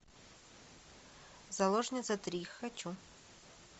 заложница три хочу